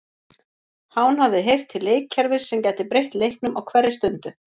Hán hafði heyrt til leikkerfis sem gæti breytt leiknum á hverri stundu.